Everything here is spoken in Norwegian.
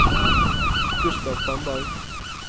Gustav Tandberg